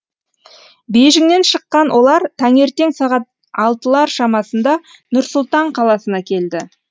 бейжіңнен шыққан олар таңертең сағат алтылар шамасында нұр сұлтан қаласына келді